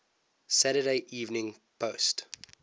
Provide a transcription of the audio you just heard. saturday evening post